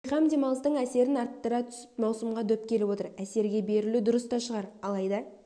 бейқам демалыстың әсерін арттыра түсіп маусымға дөп келіп отыр әсерге берілу дұрыс та шығар алайда